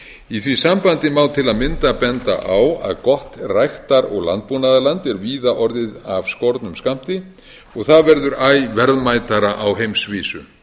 í því sambandi má til að mynda benda á að gott ræktar og landbúnaðarland er víða orðið af skornum skammti og það verður æ verðmætara á heimsvísu